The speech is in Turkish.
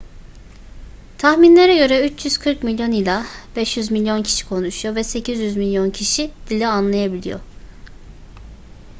tahminlere göre 340 milyon ila 500 milyon kişi konuşuyor ve 800 milyon kişi dili anlayabiliyor